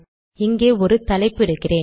இங்கே ஒரு தலைப்பு இடுகிறேன்